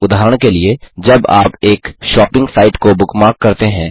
उदाहरण के लिए जब आप एक शॉपिंग साइट को बुकमार्क करते हैं